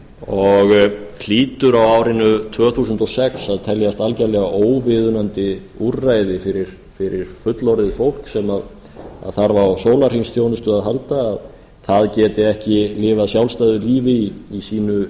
og hlýtur á árinu tvö þúsund og sex að teljast algerlega óviðunandi úrræði fyrir fullorðið fólk sem þarf á sólarhringsþjónustu að halda að að geti ekki lifað sjálfstæðu lífi í sínu